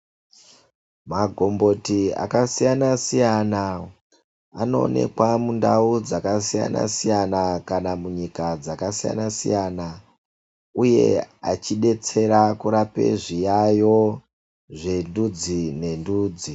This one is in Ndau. Magomboti akasiyana siyana anoonekwa mundau dzakasiyana siyana kana munyika dzakasiyana siyana uye achidetsera kurapa zviyayo zvendudzi nendudzi.